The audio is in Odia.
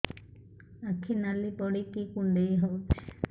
ଆଖି ନାଲି ପଡିକି କୁଣ୍ଡେଇ ହଉଛି